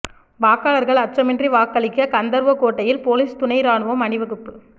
வாக்காளர்கள் அச்சமின்றி வாக்களிக்க கந்தர்வகோட்டையில் போலீஸ் துணை ராணுவம் அணி வகுப்பு